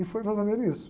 E foi mais ou menos isso.